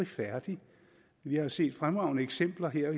færdig vi har set fremragende eksempler her